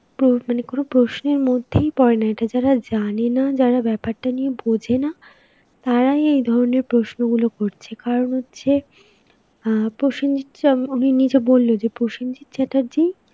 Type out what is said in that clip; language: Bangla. প্রো~ মানে কোনো প্রশ্নের মধ্যেই পরে না. এটা যারা জানেনা, যারা ব্যাপারটা নিয়ে বোঝেনা, তারাই এই ধরনের প্রশ্নগুলো করছে, কারণ হচ্ছে আঁ প্রসেনজিৎ চ~, উনি নিজে বলল যে প্রসেনজিৎ চ্যাটার্জি